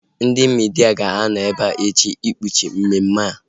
Ndị midia ga-anọ ebea echi ikpuchi mmemme a